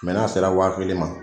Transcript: n'a se la wa kelen ma.